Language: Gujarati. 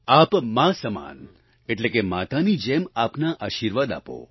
આપ માં સમાન એટલે કે માતાની જેમ આપના આશિર્વાદ આપો